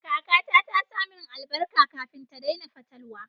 Kakata ta sa min albarka kafin ta daina fatalwa.